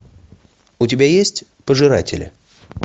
у тебя есть пожиратели